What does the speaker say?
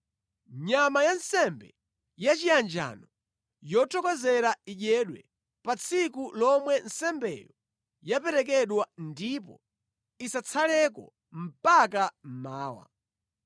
Nyama ya nsembe yachiyanjano yothokozera idyedwe pa tsiku lomwe nsembeyo yaperekedwa ndipo isatsaleko mpaka mmawa.